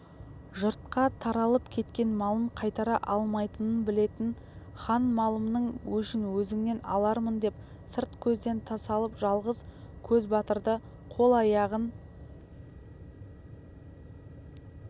жұртқа таралып кеткен малын қайтара алмайтынын білетін хан малымның өшін өзіңнен алармындеп сырт көзден тасалап жалғыз көзбатырды қол-аяғын